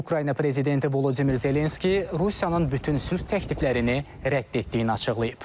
Ukrayna prezidenti Vladimir Zelenski Rusiyanın bütün sülh təkliflərini rədd etdiyini açıqlayıb.